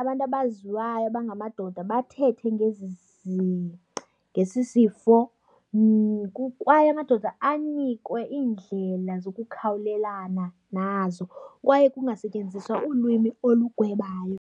abantu abaziwayo abangamadoda bathethe ngesisifo. Kwaye amadoda anikwe iindlela zokukhawulelana nazo kwaye kungasetyenziswa ulwimi olugwebayo.